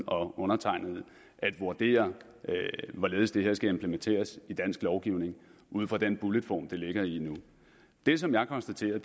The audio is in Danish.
og undertegnede at vurdere hvorledes det her skal implementeres i dansk lovgivning ud fra den punktform det ligger i nu det som jeg konstaterer